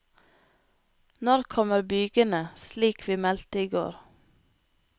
Når kommer bygene, slik vi meldte i går?